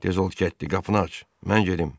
Tez ol Ketdi, qapını aç, mən gedim.